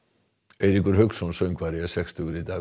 Eiríkur Hauksson söngvari er sextugur í dag